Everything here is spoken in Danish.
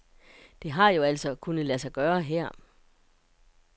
Det har jo altså kunnet lade sig gøre her.